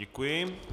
Děkuji.